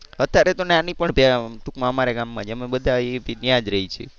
હમ્મ અત્યારે તો નાની પણ ટુંકમાં અમારા ગામમાં જ અમે બધા ત્યાં જ રહી છી.